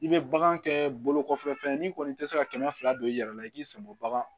I bɛ bagan kɛɛ bolokɔfɛfɛn ye n'i kɔni tɛ se ka kɛmɛ fila don i yɛrɛ la i k'i sɛgɛn bɔ bagan